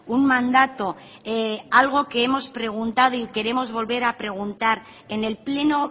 un mandato algo que hemos preguntado y queremos volver a preguntar en el pleno